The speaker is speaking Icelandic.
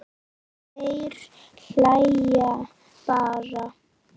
Þeir hlæja bara.